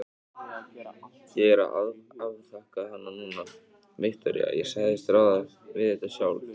Ég er að afþakka hana núna, Viktoría, ég sagðist ráða við þetta sjálf.